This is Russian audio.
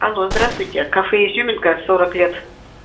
алло здравствуйте кафе изюминка сорок лет